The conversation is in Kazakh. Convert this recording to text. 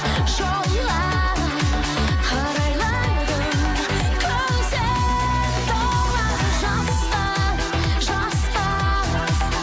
жолға қарайладым көзім толады жасқа жасқа